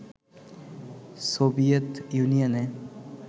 Soviet ইউনিয়নে